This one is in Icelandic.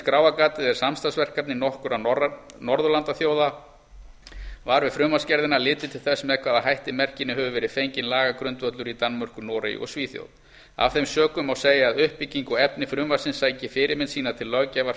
skráargatið er samstarfsverkefni nokkurra norðurlandaþjóða var við frumvarpsgerðina litið til þess með hvaða hætti merkinu hefur verið fenginn lagagrundvöllur í danmörku noregi og svíþjóð af þeim sökum má segja að uppbygging og efni frumvarpsins sæki fyrirmynd sína til löggjafar